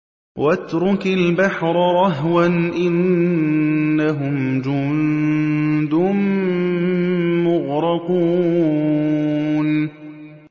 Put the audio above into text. وَاتْرُكِ الْبَحْرَ رَهْوًا ۖ إِنَّهُمْ جُندٌ مُّغْرَقُونَ